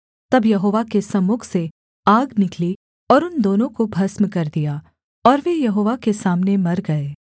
तब यहोवा के सम्मुख से आग निकली और उन दोनों को भस्म कर दिया और वे यहोवा के सामने मर गए